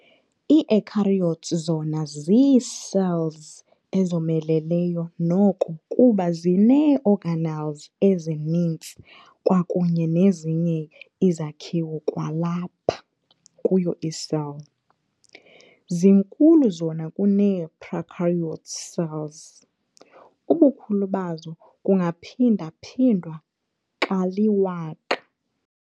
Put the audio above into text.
Ii-Eukaryotes zona zii-cells ezomeleleyo noko kuba zinee-organelles ezininzi kwakunye nezinye izakhiwo kwalapha kuyo i-cell. zinkulu zona kunee-prokaryote cells- Ubukhulu bazo bungaphinda-phindwa kali-1000.